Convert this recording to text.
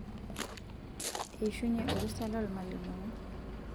eishunye orusa loolmalimuni